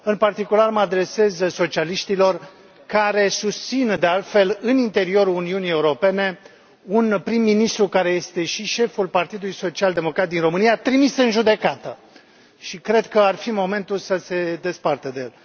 În particular, mă adresez socialiștilor, care susțin, de altfel, în interiorul Uniunii Europene, un prim ministru, care este și șeful Partidului Social Democrat din România, trimis în judecată, și cred că ar fi momentul să se despartă de el.